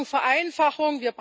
Wir brauchen Vereinfachung.